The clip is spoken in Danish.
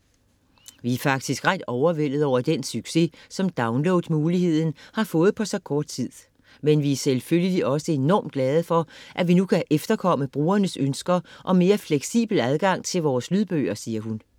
- Vi er faktisk ret overvældede over den succes, som download-muligheden har fået på så kort tid. Men vi er selvfølgelig også enormt glade for, at vi nu kan efterkomme brugernes ønsker om mere fleksibel adgang til vores lydbøger, siger hun.